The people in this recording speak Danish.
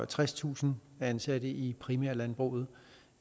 tredstusind ansatte i i primærlandbruget